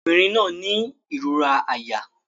Ọmọbìnrin náà ń ní ìrora àyà